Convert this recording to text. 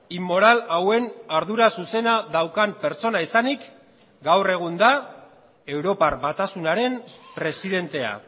inmoral hauen ardura zuzena daukan pertsona izanik gaur egun da europar batasunaren presidentea